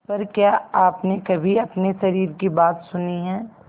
पर क्या आपने कभी अपने शरीर की बात सुनी है